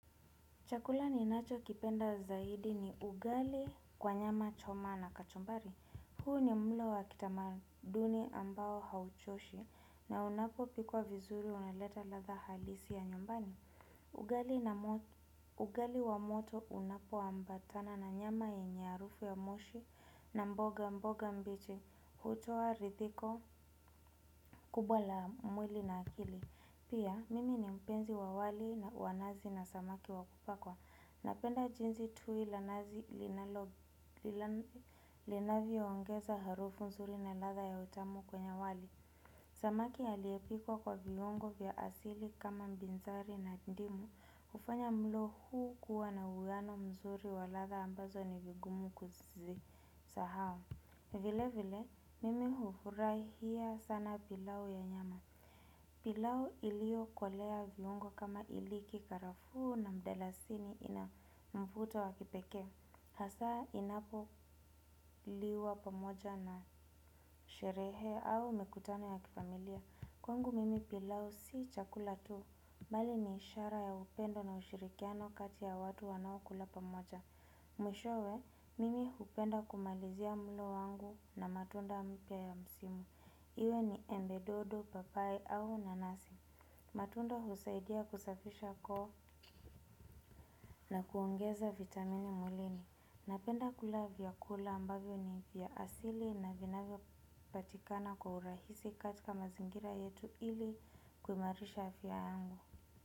Chakula ninacho kipenda zaidi ni ugali kwa nyama choma na kachumbari. Huu ni mlo wa kitamaduni ambao hauchoshi na unapo pikwa vizuri uneleta ladha halisi ya nyumbani. Ugali wa moto unapo ambatana na nyama yenye harufu ya moshi na mboga mboga mbichi hutoa ridhiko kubwa la mwili na akili. Pia, mimi ni mpenzi wa wali na wanazi na samaki wa kupakwa. Napenda jinsi tui la nazi linavyo ongeza harufu mzuri na ladha ya utamu kwenye wali. Samaki aliyepikwa kwa viungo vya asili kama mbinzari na ndimu hufanya mlo huu kuwa na uwiano mzuri wa ladha ambazo ni vigumu kuzi sahau. Vile vile, mimi hufurahia sana pilau ya nyama pilau iliyokolewa viungo kama iliki karafuu na mdalasini ina mvuto wa kipekee. Hasaa inapo liwa pamoja na sherehe au mikutano ya kifamilia. Kwangu mimi pilau si chakula tu. Bali ni ishara ya upendo na ushirikiano kati ya watu wanaokula pamoja. Mwishowe, mimi hupenda kumalizia mlo wangu na matunda mpya ya msimu. Iwe ni embe dodo papayi au nanasi. Matunda husaidia kusafisha koo na kuongeza vitamini mwilini. Napenda kula vyakula ambavyo ni vya asili na vinavyo patikana kwa urahisi katika mazingira yetu ili kuimarisha afya yangu.